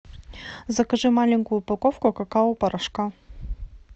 закажи маленькую упаковку какао порошка